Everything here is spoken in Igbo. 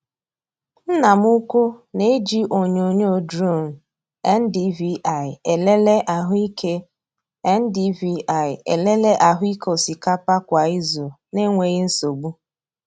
Nna m ukwu na-eji onyonyo drone NDVI elele ahụike NDVI elele ahụike osikapa kwa izu na-enweghị nsogbu.